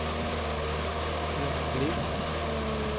Björn Blixt